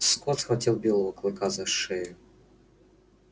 скотт схватил белого клыка за шею